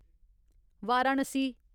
Varanasi